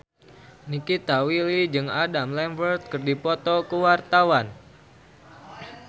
Nikita Willy jeung Adam Lambert keur dipoto ku wartawan